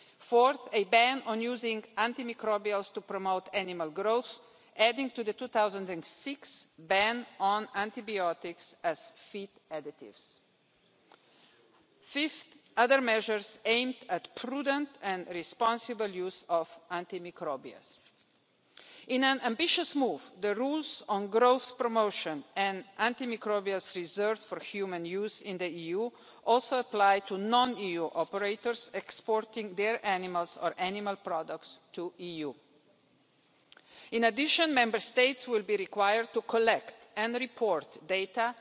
fourth, a ban on using antimicrobials to promote animal growth, adding to the 2006 ban on antibiotics as feed additives fifth, other measures aimed at the prudent and responsible use of antimicrobials. In an ambitious move, the rules on growth promotion and antimicrobials reserved for human use in the EU also apply to non EU operators exporting their animals or animal products to the EU. In addition, Member States will be required to collect and report